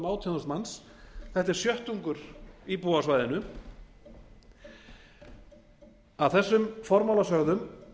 þúsund manns þetta er sjöttungur íbúa á svæðinu að þessum formála sögðum